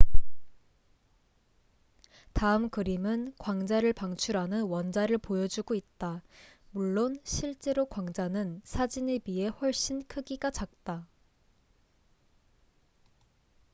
다음 그림은 광자를 방출하는 원자를 보여주고 있다 물론 실제로 광자는 사진에 비해 훨씬 크기가 작다